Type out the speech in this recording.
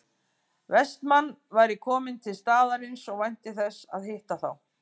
Vestmann væri kominn til staðarins og vænti þess að hitta þá